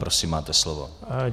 Prosím, máte slovo.